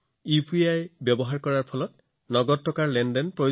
UPI QR কোডৰ বাবে তেওঁলোকে নগদ ধন উলিয়াব লগা হোৱা নাছিল